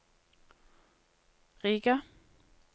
Riga